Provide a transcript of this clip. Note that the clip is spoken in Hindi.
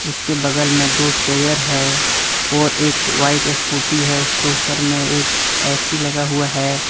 उसके बगल में दो चेयर है और एक व्हाइट स्कूटी है उसके ऊपर में एक ऐ_सी लगा हुआ है।